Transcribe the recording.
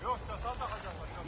Yox, çata da qoyacağıq.